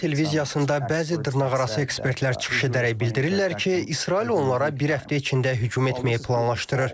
Bu gün İran televiziyasında bəzi dırnaqarası ekspertlər çıxış edərək bildirirlər ki, İsrail onlara bir həftə içində hücum etməyi planlaşdırır.